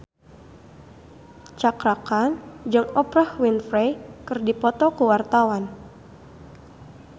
Cakra Khan jeung Oprah Winfrey keur dipoto ku wartawan